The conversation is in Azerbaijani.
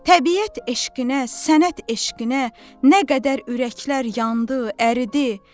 Təbiət eşqinə, sənət eşqinə nə qədər ürəklər yandı, əridi.